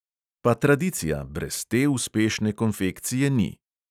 Pa tradicija, brez te uspešne konfekcije ni!